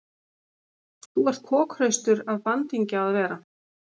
Þú ert kokhraustur af bandingja að vera.